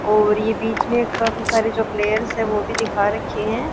और ये बीच में एक काफी सारे जो प्लेयर्स है वो भी दिखा रखे हैं।